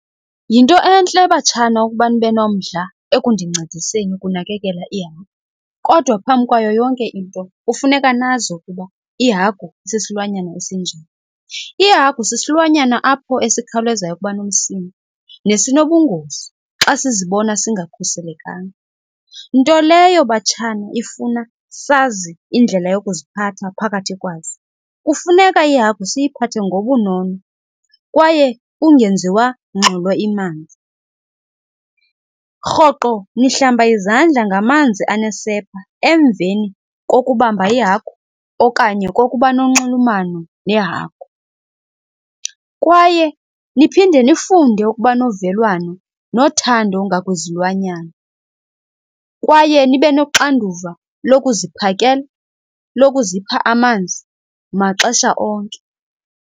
Yinto entle batshana ukuba nibe nomdla ekundincediseni ukunakekela ihagu kodwa phambi kwayo yonke into kufuneka nazi ukuba ihagu sisilwanyana esinjani. Ihagu sisilwanyana apho esikhawulezayo ukuba nomsindo nesinobungozi xa sizibona singakhuselekanga, nto leyo batshana ifuna sazi indlela yokuziphatha phakathi kwazo. Kufuneka ihagu siyiphathe ngobunono kwaye kungenziwa ngxolo . Rhoqo nihlamba izandla ngamanzi anesepha emveni kokubamba ihagu okanye kokuba nonxulumano nehagu kwaye niphinde nifunde ukuba novelwano nothando ngakwizilwanyana. Kwaye nibe noxanduva lokuziphakela, lokuzipha amanzi maxesha onke.